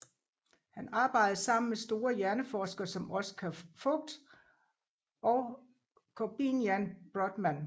Han arbejdede sammen med store hjerneforskere som Oskar Voght og Korbinian Brodmann